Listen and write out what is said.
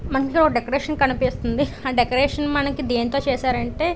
మధ్యలో ఒక డెకరేషన్ కనిపిస్తుంది. ఆ డెకరేషన్ మనకి దేనితో చేశారు అంటే --